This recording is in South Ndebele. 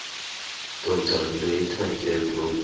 dr lategan road